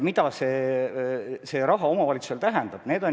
Mida see raha omavalitsusele tähendab?